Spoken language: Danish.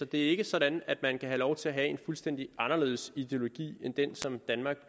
det er ikke sådan at man kan have lov til at have en fuldstændig anderledes ideologi end den som danmark